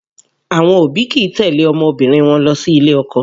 Àwọn òbí kìí tẹ̀lé ọmọbìnrin wọn lọ sí ilé ọkọ